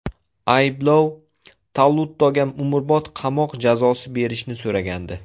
Ayblov Tallutoga umrbod qamoq jazosi berishni so‘ragandi.